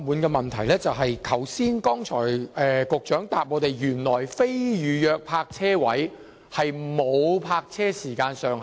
局長在剛才的答覆中指出，非預約泊車位不設時限。